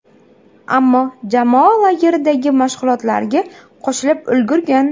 Ammo jamoa lageridagi mashg‘ulotlarga qo‘shilib ulgurgan.